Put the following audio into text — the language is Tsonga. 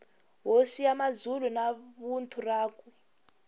hosi ya mazulu na vuthu rakwe